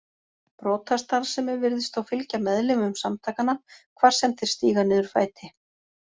Brotastarfsemi virðist þó fylgja meðlimum samtakanna hvar sem þeir stíga niður fæti.